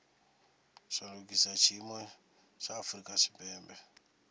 shandukisa tshiimo tsha afurika tshipembe